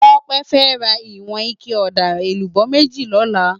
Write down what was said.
Tope fè rá iwòn iké òdá élúbò méjí lòlá